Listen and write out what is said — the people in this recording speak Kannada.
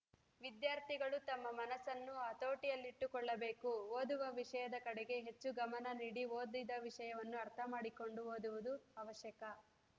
ವಿದ್ಯಾರ್ಥಿಗಳು ತಮ್ಮ ಮನಸ್ಸನ್ನು ಹತೋಟಿಯಲ್ಲಿಟ್ಟುಕೊಳ್ಳಬೇಕು ಓದುವ ವಿಷಯದ ಕಡೆಗೆ ಹೆಚ್ಚು ಗಮನ ನೀಡಿ ಓದಿದ ವಿಷಯವನ್ನು ಅರ್ಥ ಮಾಡಿಕೊಂಡು ಓದುವುದು ಅವಶ್ಯಕ